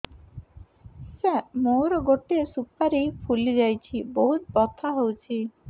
ସାର ମୋର ଗୋଟେ ସୁପାରୀ ଫୁଲିଯାଇଛି ବହୁତ ବଥା ହଉଛି